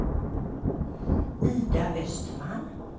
Ida Östman